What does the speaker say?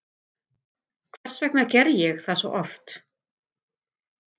Hvers vegna gerði ég það svona oft?